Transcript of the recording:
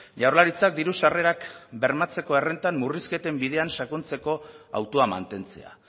jaurlaritzak diru sarrerak bermatzeko errentan murrizketen bidean sakontzeko autoa mantentzea